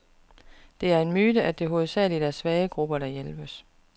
Det er en myte, at det hovedsageligt er svage grupper, der hjælpes.